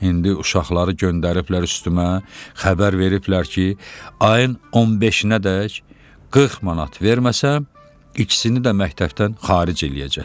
İndi uşaqları göndəriblər üstümə, xəbər veriblər ki, ayın 15-nədək 40 manat verməsəm, ikisini də məktəbdən xaric eləyəcəklər.